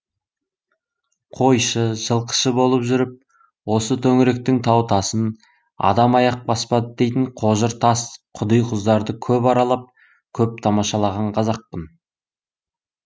қойшы жылқышы болып жүріп осы төңіректің тау тасын адам аяқ баспады дейтін қожыр тас құди құздарды көп аралап көп тамашалаған қазақпын